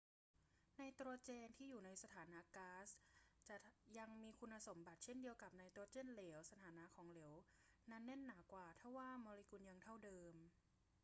ไนโตรเจนที่อยู่ในสถานะก๊าซจะยังมีคุณสมบัติเช่นเดียวกับไนโตรเจนเหลว สถานะของเหลวนั้นหนาแน่นกว่าทว่าโมเลกุลยังเท่าเดิม